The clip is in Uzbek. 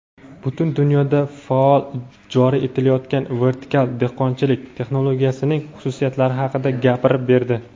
butun dunyoda faol joriy etilayotgan "vertikal dehqonchilik" texnologiyasining xususiyatlari haqida gapirib berdi.